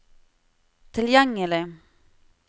tilgjengelig